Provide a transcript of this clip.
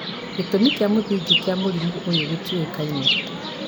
gĩtũmi kĩa mũthingi kĩa mũrimũ ũyũ gĩtiũĩkaine